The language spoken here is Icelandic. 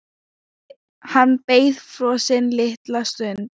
Hann beið frosinn litla stund.